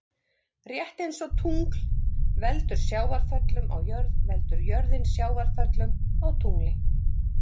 Rétt eins og tungl veldur sjávarföllum á jörð veldur jörðin sjávarföllum á tungli.